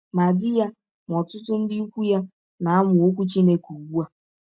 Ma di ya ma ọtụtụ ndị ikwụ ya na - amụ Ọkwụ Chineke ụgbụ a.